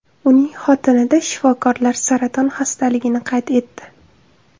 Uning xotinida shifokorlar saraton xastaligini qayd etdi.